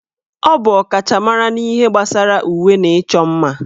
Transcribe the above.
Ọ bụ ọkachamara na ihe gbasara uwe na ịchọ mma